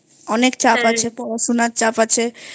অনেক চাপ আছে পড়াশোনার চাপ আছে